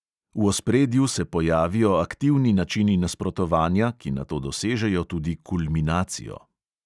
V ospredju se pojavijo aktivni načini nasprotovanja, ki nato dosežejo tudi kulminacijo.